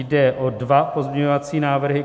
Jde o dva pozměňovací návrhy.